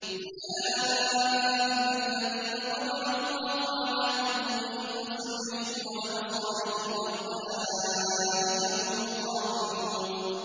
أُولَٰئِكَ الَّذِينَ طَبَعَ اللَّهُ عَلَىٰ قُلُوبِهِمْ وَسَمْعِهِمْ وَأَبْصَارِهِمْ ۖ وَأُولَٰئِكَ هُمُ الْغَافِلُونَ